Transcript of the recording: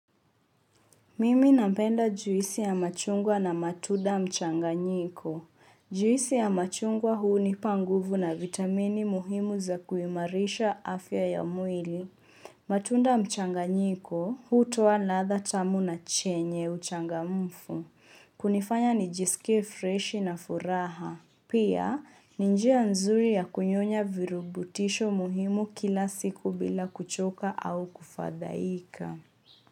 Mimi napenda juisi ya machungwa na matunda mchanganyiko. Juisi ya machungwa hunipa nguvu na vitamini muhimu za kuimarisha afya ya mwili. Matunda mchanganyiko, hutoa ladha tamu na chenye uchangamfu. Kunifanya nijiskie freshi na furaha. Pia, ni njia nzuri ya kunyonya virubutisho muhimu kila siku bila kuchoka au kufadhaika.